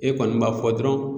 E kɔni b'a fɔ dɔrɔn